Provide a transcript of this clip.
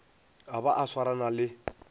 a ba a swarana le